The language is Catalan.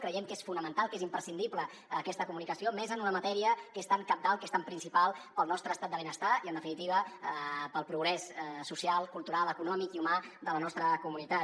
creiem que és fonamental que és imprescindible aquesta comunicació més en una matèria que és tan cabdal que és tan principal per al nostre estat de benestar i en definitiva per al progrés social cultural econòmic i humà de la nostra comunitat